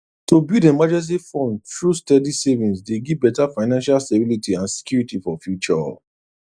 to build emergency fund through steady savings dey give better financial stability and security for future